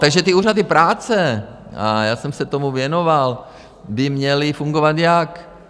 Takže ty úřady práce, a já jsem se tomu věnoval, by měly fungovat jak?